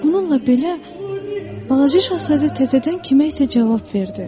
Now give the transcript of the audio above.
Bununla belə balaca şahzadə təzədən kimə isə cavab verdi.